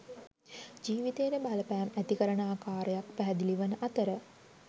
ජීවිතයට බලපෑම් ඇති කරන ආකාරයක් පැහැදිලි වන අතර